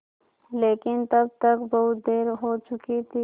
लेकिन तब तक बहुत देर हो चुकी थी